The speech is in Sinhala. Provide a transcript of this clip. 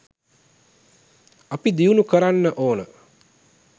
අපි දියුණු කරන්න ඕන